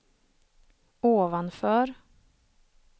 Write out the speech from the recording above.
ovanför